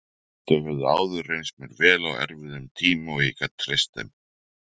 Þau höfðu áður reynst mér vel á erfiðum tíma og ég gat treyst þeim.